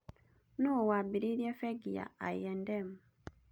Nũũ waambĩrĩirie bengi ya I&M?